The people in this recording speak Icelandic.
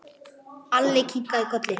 Alli kinkaði kolli.